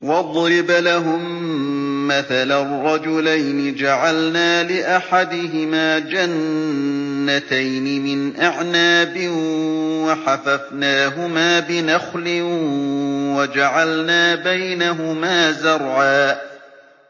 ۞ وَاضْرِبْ لَهُم مَّثَلًا رَّجُلَيْنِ جَعَلْنَا لِأَحَدِهِمَا جَنَّتَيْنِ مِنْ أَعْنَابٍ وَحَفَفْنَاهُمَا بِنَخْلٍ وَجَعَلْنَا بَيْنَهُمَا زَرْعًا